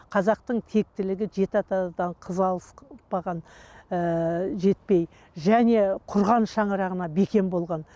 қазақтың тектілігі жеті атадан қыз алыспаған ііі жетпей және құрған шаңырағына бекем болған